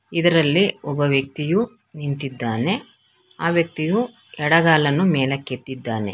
ಇದರಲ್ಲಿ ಒಬ್ಬ ವ್ಯಕ್ತಿಯು ನಿಂತಿದ್ದಾನೆ ಆ ವ್ಯಕ್ತಿಯು ಎಡಗಾಲನ್ನು ಮೇಲಕ್ಕೆತ್ತಿದ್ದಾನೆ.